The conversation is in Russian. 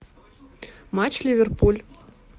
матч ливерпуль